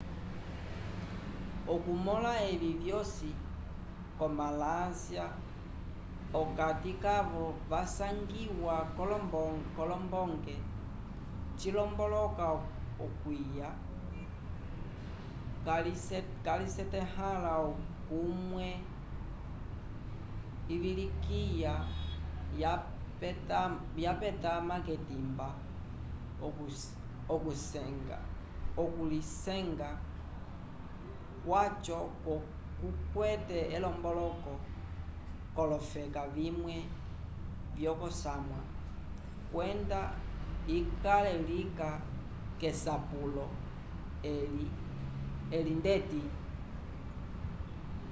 okumõla evi vyosi ko malásia p'okati kavo vasangiwa k'olombonge cilomboloka okwiya calisetahãla l'omwine ivilikiya yapetama k'etimba okulisenga kwaco kukwete elomboloko k'olofeka vimwe vyokosamwa kwenda ikale lika k'esapulo eli ndeti